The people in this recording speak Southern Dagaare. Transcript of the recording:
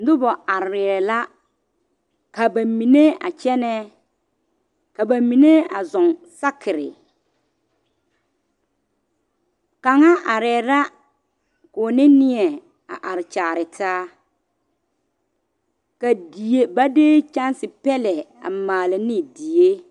Noba arɛɛ la ka ba mine a kyɛnɛ ka ba mine a zɔŋ sakere ksŋa arɛɛ la k,o ne neɛ a are kyaare taa ka die ba de kyɛnse pɛlɛ a maale ne die.